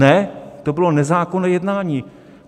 Ne, to bylo nezákonné jednání!